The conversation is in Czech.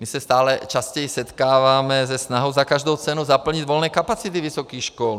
My se stále častěji setkáváme se snahou za každou cenu zaplnit volné kapacity vysokých škol.